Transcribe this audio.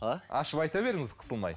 а ашып айта беріңіз қысылмай